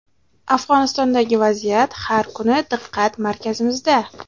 Afg‘onistondagi vaziyat har kuni diqqat markazimizda.